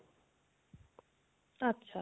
আচ্ছা